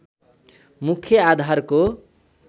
मुख्य आधारको